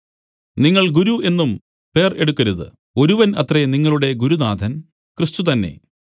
നിങ്ങൾ ഗുരു എന്നും പേർ എടുക്കരുത് ഒരുവൻ അത്രേ നിങ്ങളുടെ ഗുരുനാഥൻ ക്രിസ്തു തന്നെ